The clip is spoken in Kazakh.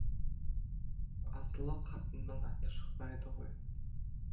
асылы қатынның аты шықпайды ғой